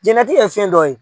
Diɲɛlatigɛ ye fɛn dɔ ye.